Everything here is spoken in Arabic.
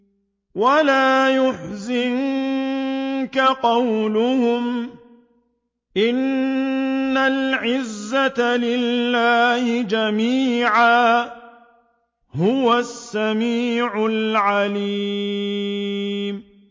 وَلَا يَحْزُنكَ قَوْلُهُمْ ۘ إِنَّ الْعِزَّةَ لِلَّهِ جَمِيعًا ۚ هُوَ السَّمِيعُ الْعَلِيمُ